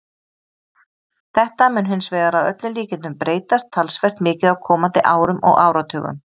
Þetta mun hins vegar að öllum líkindum breytast talsvert mikið á komandi árum og áratugum.